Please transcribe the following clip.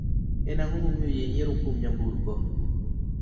En ang'o mamiyo ji nyiero kuom nyamburko